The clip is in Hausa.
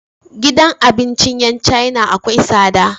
Gidan abincin yan china akwai tsada